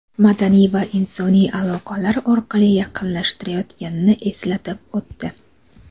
madaniy va insoniy aloqalar orqali yaqinlashtirayotganini eslatib o‘tdi.